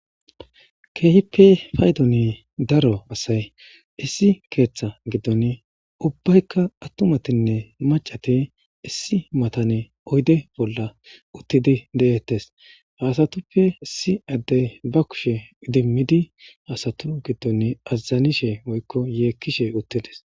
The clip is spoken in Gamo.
Keehippe daaro assay issi keththa giddon ubbatika attumatinne maccati issi mattan oydde bolla uttidi de'ettes.hessattape issi addey ba kushshe iidimidi azzanishe uttided.